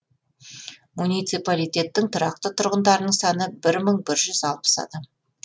муниципалитеттің тұрақты тұрғындарының саны бір мың бір жүз алпыс адам